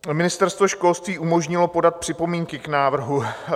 Ministerstvo školství umožnilo podat připomínky k návrhu.